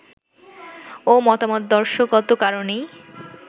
ও মতাদর্শগত কারণেই